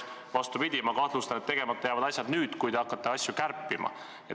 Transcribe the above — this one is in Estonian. Vastupidi, ma kahtlustan, et tegemata jäävad asjad nüüd, kui te hakkate eelarveid kärpima.